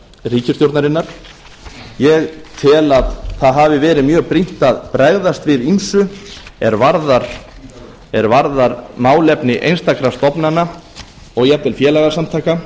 ríkisstjórnarinnar ég tel að það hafi verið mjög brýnt að bregðast við ýmsu er varðar málefni einstakra stofnana og jafnvel félagasamtaka